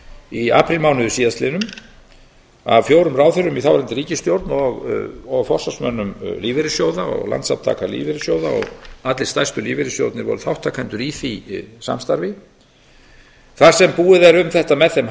í aprílmánuði síðastliðnum af fjórum ráðherrum í þáverandi ríkisstjórn og forsvarsmönnum lífeyrissjóða og landssamtaka lífeyrissjóða og allir stærstu lífeyrissjóðirnir voru þátttakendur í því samstarfi þar sem búið er um þetta með þeim